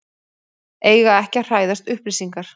Eiga ekki að hræðast upplýsingar